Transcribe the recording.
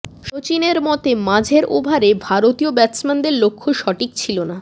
সচিনের মতে মাঝের ওভারে ভারতীয় ব্যাটসম্যানদের লক্ষ্য সঠিক ছিল না